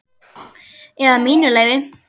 Eða mínu leyfi.